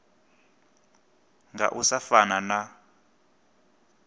nga u sa fana na